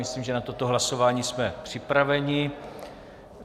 Myslím, že na toto hlasování jsme připraveni.